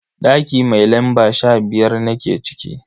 Daki mai lamba sha biyar nake ciki.